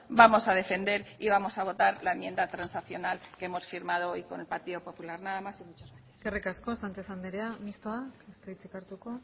vamos a defender y vamos a votar la enmienda transaccional que hemos firmado hoy con el partido popular nada más y muchas gracias eskerrik asko sánchez andrea mixtoa ez du hitzik hartuko